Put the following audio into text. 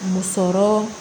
Musɔrɔ